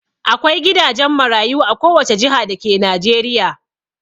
Akwai gidajen marayu a kowace jiha dake Najeriya.